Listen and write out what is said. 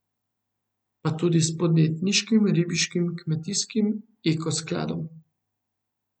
Pa tudi s podjetniškim, ribiškim, kmetijskim, eko skladom ...